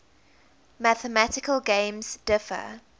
mathematical games differ